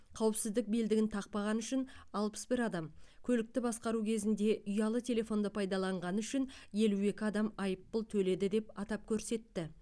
қауіпсіздік белдігін тақпағаны үшін алпыс бір адам көлікті басқару кезінде ұялы телефонды пайдаланғаны үшін елу екі адам айыппұл төледі деп атап көрсетті